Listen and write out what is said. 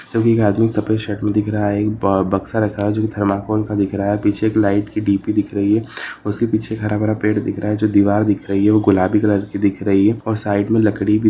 जब एक आदमी सफ़ेद शर्ट में दिख रहा है बक्सा रखा है जो की थर्माकोल का दिख रहा है पीछे लाइट की डी_पी दिख रही है उसके पीछे हराभरा पेड़ दिख रह है जो दिवार दिख रही है वो गुलाबी कलर की दिख रही है और साइड में लकड़ी--